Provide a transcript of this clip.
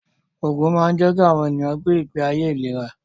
Ògùn máa ń jẹ́ kí àwọn ènìyàn gbé ìgbé ayé ìléra